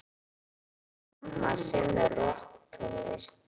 Amma semur rokktónlist.